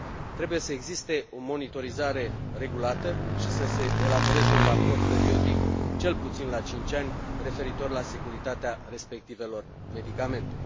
Trebuie să existe o monitorizare regulată și să se elaboreze un raport periodic, cel puțin la cinci ani, referitor la securitatea respectivelor medicamente.